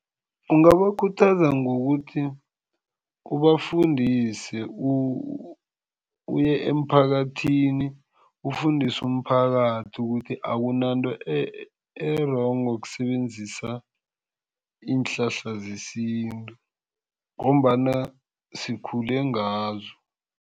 Ungabakhuthaza ngokuthi ubafundise, uye emphakathini ufundise umphakathi ukuthi akunanto e-wrong ngokusebenzisa iinhlahla zesintu ngombana sikhule ngazo.